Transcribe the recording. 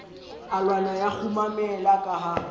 alwana ya kgumamela ka ha